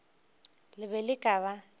le be le ka ba